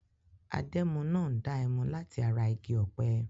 Adẹ́mu náà ń dá ẹmu láti ara igi ọ̀pẹ.